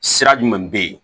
Sira jumɛn bɛ yen